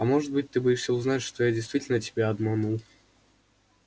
а может быть ты боишься узнать что я действительно тебя обманул